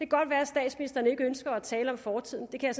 godt være at statsministeren ikke ønsker at tale om fortiden det kan